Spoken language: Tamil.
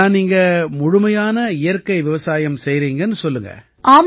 அப்படின்னா நீங்க முழுமையான இயற்கை விவசாயம் செய்யறீங்கன்னு சொல்லுங்க